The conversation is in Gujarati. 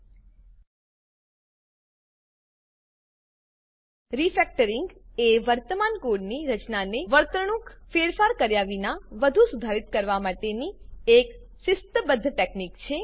રિફેક્ટરિંગ રીફેક્ટરીંગ એ વર્તમાન કોડની રચનાને વર્તણૂકમાં ફેરફાર કર્યા વિના વધુ સુધારિત કરવા માટેની એક શિસ્તબદ્ધ ટેકનિક છે